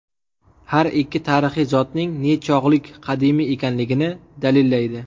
Har ikki tarixiy zotning nechog‘lik qadimiy ekanligini dalillaydi.